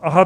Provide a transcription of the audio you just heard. Aha.